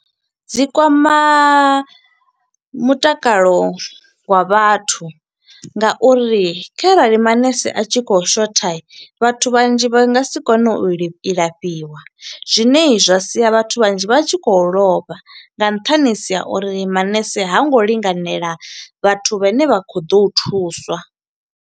Dzi kwama mutakalo wa vhathu nga uri kharali manese a tshi khou shotha vhathu vhanzhi vha nga si kone u li u lafhiwa. Zwine zwa sia vhathu vhanzhi vha tshi khou lovha, nga nṱhani ha uri manese ha ngo linganela vhathu vhane vha khou ḓo u thuswa.